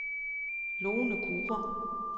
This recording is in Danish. Lone Kure